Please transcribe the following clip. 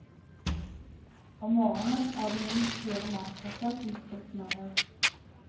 Om morgenen er det minst fire matpakker som skal smøres.